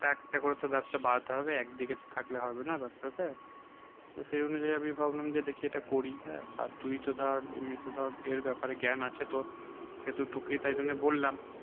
একটা করে ব্যবসা বাড়াতে হবে একদিকে তো থাকলে হবে না তার সাথে। তো সেই অনুযায়ী আমি ভাবলাম যে দেখি এটা করি হ্যাঁ আর তুই তো ধর এমনি তো ধর এর ব্যাপারে জ্ঞান আছে তোর সেহেতু তোকেই তাই জন্যে বললাম